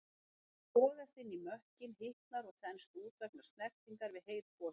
Það sogast inn í mökkinn, hitnar og þenst út vegna snertingar við heit gosefni.